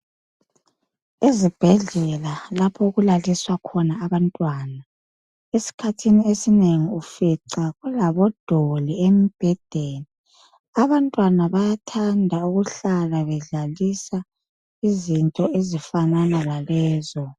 Izibhedlela lapho okulaliswa khona abantwana, esikhathini esinengi ufica kulabodoli embhedeni. Abantwana bayathanda ukuhlala bedlalisa izinto ezifana lalezo.